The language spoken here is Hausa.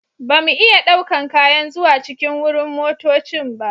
Ba mu iya ɗaukan kayan zuwa cikin wurin motoccin ba.